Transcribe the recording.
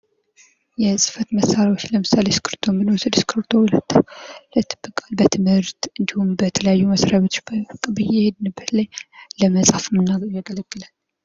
የፅህፈት መሣሪያዎች ለምሳሌ እስክብሪቶ ብንወስድ እስክብሪቶ በትምህርት እንዲሁም በተለያዩ መስሪያ ቤቶች በየሔድንበት ላይ ለመፃፍ የሚያገለግለን ።